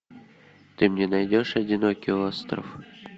ты мне найдешь одинокий остров